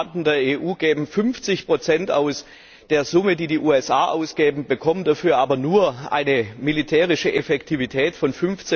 Die Staaten der EU geben 50 der Summe aus, die die USA ausgeben, bekommen dafür aber nur eine militärische Effektivität von